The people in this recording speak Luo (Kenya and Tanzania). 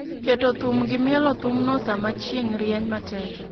Keto thum, gi mielo thumno sama chieng' rieny matek